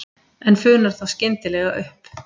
En funar þá skyndilega upp.